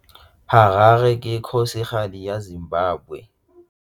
Harare ke kgosigadi ya Zimbabwe.